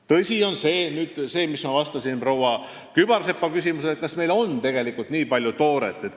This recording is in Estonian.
Tõsi on see, mis ma vastasin proua Kübarsepale, et kas meil ikka on tegelikult nii palju tooret.